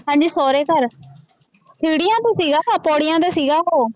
ਹਾਂਜੀ ਸਹੁਰੇ ਘਰ ਸੀੜੀਆਂ ਤੇ ਸੀਗਾ, ਪੌੜੀਆਂ ਤੇ ਸੀਗਾ ਉਹ।